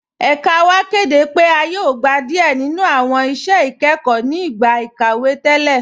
Ẹ̀kà wa kẹdẹ pe a yóò gbà díẹ ninu awọn iṣẹ̀ ikẹkọ ni igbá ikàwé atẹlẹ.